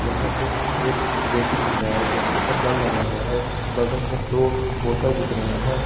यहां पे एक बेसिन दिख रहा है जिसके ऊपर नल लगा हुआ है बगल में दो बोतल दिख रहे हैं।